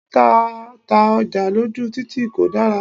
Títa ta ọjà lójú títì kò dára.